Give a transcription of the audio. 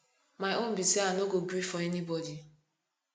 my own be say i no go gree for anybody